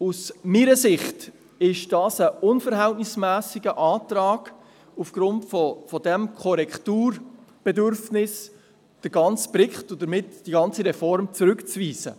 Aus meiner Sicht ist es ein unverhältnismässiger Antrag, aufgrund dieses Korrekturbedürfnisses den ganzen Bericht, und damit die ganze Reform, zurückzuweisen.